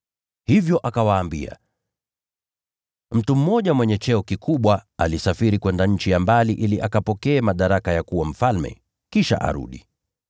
Hivyo akawaambia: “Mtu mmoja mwenye cheo kikubwa alisafiri kwenda nchi ya mbali ili akapokee madaraka ya kuwa mfalme, kisha arudi.